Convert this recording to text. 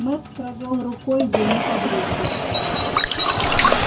мэтт провёл рукой ему по брюху